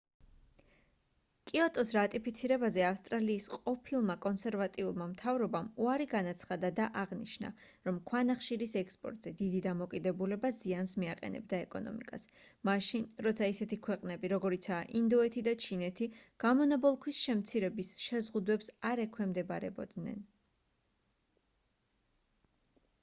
კიოტოს რატიფიცირებაზე ავსტრალიის ყოფილმა კონსერვატიულმა მთავრობამ უარი განაცხადა და აღნიშნა რომ ქვანახშირის ექსპორტზე დიდი დამოკიდებულება ზიანს მიაყენებდა ეკონომიკას მაშინ როცა ისეთი ქვეყნები როგორიცაა ინდოეთი და ჩინეთი გამონაბოლქვის შემცირების შეზღუდვებს არ ექვემდებარებოდნენ